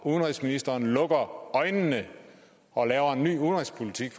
udenrigsministeren lukker øjnene og laver en ny udenrigspolitik